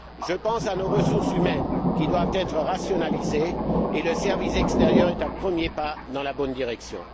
Je pense à nos ressources humaines, qui doivent être rationalisées, et le service extérieur est un premier pas dans la bonne direction.